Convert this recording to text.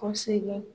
Kosɛbɛ